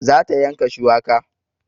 Za ta yanka shuwaka